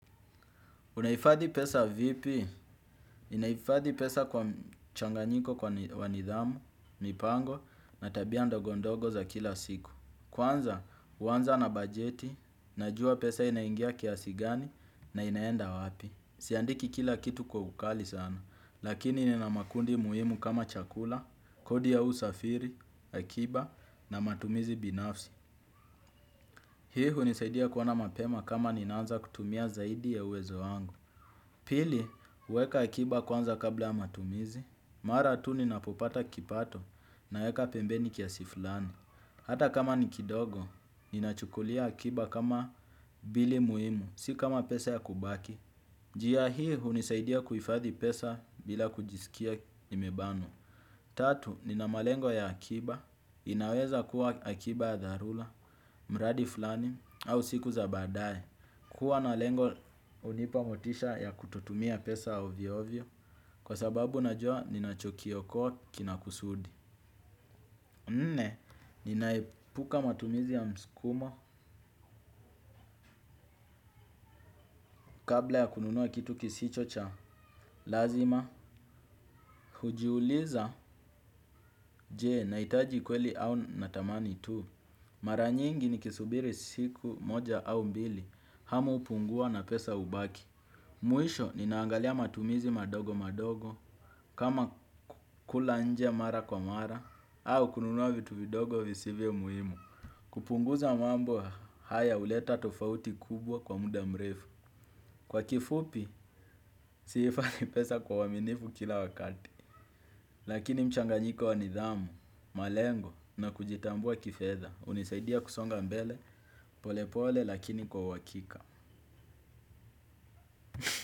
Unahifadhi pesa vipi, ninahifadhi pesa kwa mchanganyiko wa nidhamu, mipango, na tabia ndogondogo za kila siku. Kwanza, huanza na bajeti, najua pesa inaingia kiasi gani na inaenda wapi. Siandiki kila kitu kwa ukali sana, lakini nina makundi muhimu kama chakula, kodi ya usafiri, akiba na matumizi binafsi. Hii hunisaidia kuona mapema kama ninaanza kutumia zaidi ya uwezo wangu. Pili, huweka akiba kwanza kabla ya matumizi. Mara tu ninapopata kipato naweka pembeni kiasi fulani. Hata kama ni kidogo, ninachukulia akiba kama bili muhimu, si kama pesa ya kubaki. Njia hii hunisaidia kuhifadhi pesa bila kujisikia nimebana. Tatu, nina malengo ya akiba, inaweza kuwa akiba ya dharura, mradi fulani, au siku za badae. Kuwa na lengo hunipa motisha ya kutotumia pesa ovyoovyo, kwa sababu najua ninachokiokoa kina kusudi. Nne, ninaepuka matumizi ya mskumo kabla ya kununua kitu kisicho cha lazima. Hujiuliza je, nahitaji kweli au natamani tu. Mara nyingi nikisubiri siku moja au mbili hamu hupungua na pesa hubaki. Mwisho ninaangalia matumizi madogo madogo kama kula nje mara kwa mara au kununua vitu vidogo visivyo muhimu. Kupunguza mambo haya huleta tofauti kubwa kwa muda mrefu. Kwa kifupi, sihifadhi pesa kwa uaminifu kila wakati. Lakini mchanganyiko wa nidhamu, malengo na kujitambua kifedha hunisaidia kusonga mbele pole pole lakini kwa uhakika.